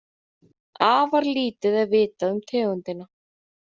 Afar lítið er vitað um tegundina.